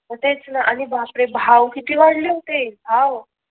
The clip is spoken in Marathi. मग तेच ना आणि बाप रे भाव किती वाढले होते भाव